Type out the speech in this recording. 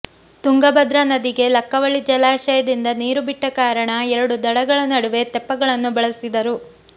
ತುಂಗಭದ್ರಾ ನದಿಗೆ ಲಕ್ಕವಳ್ಳಿ ಜಲಾಶಯದಿಂದ ನೀರು ಬಿಟ್ಟ ಕಾರಣ ಎರಡು ದಡಗಳ ನಡುವೆ ತೆಪ್ಪಗಳನ್ನು ಬಳಸಿದರು